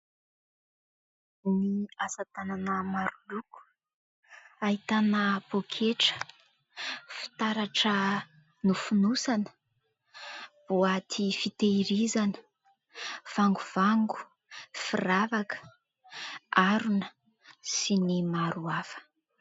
Ny asatanana maroloko, ahitana : poketra, fitaratra nofonosana, boaty fitahirizana, vangovango, firavaka, harona sy ny maro hafa.